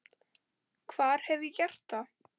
Hvar hef ég gert það?